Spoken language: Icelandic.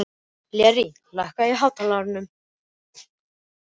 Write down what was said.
Lér, lækkaðu í hátalaranum.